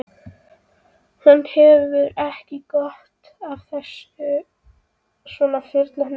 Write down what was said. Hann hefur ekki gott af þessu svona fullorðinn, fjasaði amma.